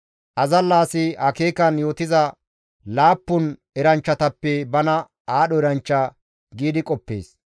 Azalla asi akeekan yootiza laappun eranchchatappe bana aadho eranchcha giidi qoppees.